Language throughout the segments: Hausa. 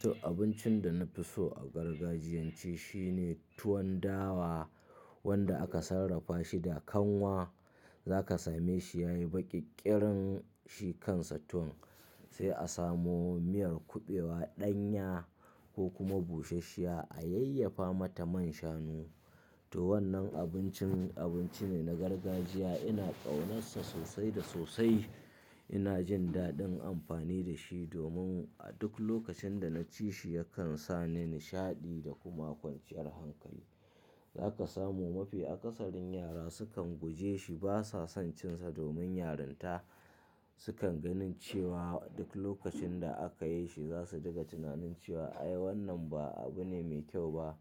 To abincin da na fi so a gargajiyance shine tuwon dawa wanda aka sarrafa shi da kanwa. Za ka same shi ya yi baƙi ƙirin shi kansa tuwon sai a samo miyar kuɓewa, ɗanya ko kuma bushashshiya a yayyafa mata man shanu. To wannan abincin abinci ne na gargajiya. Ina ƙaunarsa sosai da sosai. Ina jin daɗin amfani da shi domin a duk lokacin da na ci shi yakan sa ni nishaɗi da kuma kwanciyar hankali. Za ka samu mafi akasarin yara sukan guje shi, ba sa son cin sa domin yaranta sukan ganin cewa duk lokacin da aka yi shi za su diga tunanin cewa "ai wannan ba abu ne mai kyau ba,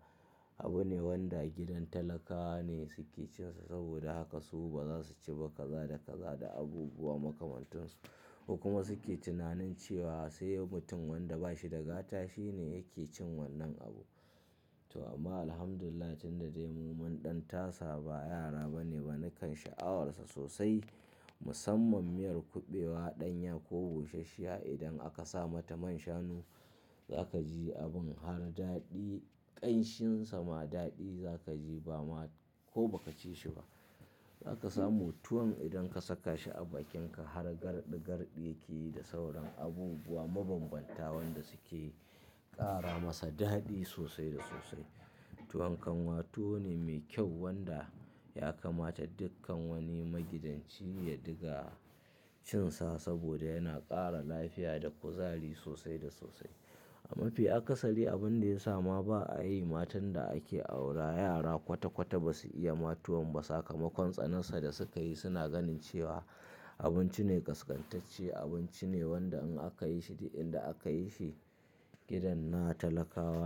abu ne wanda gidan talakawa ne suke cin sa" saboda haka su ba za su ci ba kaza da kaza da abubuwa makamantansu. Ku kuma suke tunanin cewa sai mutum wanda ba shi da fata shine yake cin wannan abu. To amma Alhamdulillah tunda dai mu mun ɗan tasa ba, yara ba ne ba nakan sha'awar sa sosai. Musamman miyar kuɓewa, ɗanya ko bushashsha idan aka sa mata man shanu za ka ji abin har daɗi. Ƙanshinsa ma daɗi za ka ji ba ma ko ba ka ci shi ba. Za ka samu tuwon idan ka saka shi a bakinka har garɗi garɗi yake yi da sauran abubuwa mabanbanta wanda suke ƙara masa daɗi sosai da sosai. Tuwon kanwa tuwo ne mai kyau wanda ya kamata dukkan wani magidanci ya diga cin sa saboda yana ƙara lafiya da kuzari sosai da sosai. A mafi akasari abin da ya sa ma ba a yi, matan da ake aura yara kwata-kwata ba su iya ma tuwon ba sakamakon tsanansa da suka yi. Suna ganin cewa abinci ne ƙasƙantacce abinci ne wanda in aka yi shi, duk inda aka yi shi gidan na talakawa.